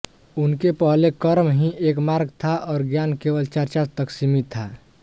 उनके पहले कर्म ही एक मार्ग था और ज्ञान केवल चर्चा तक सीमित था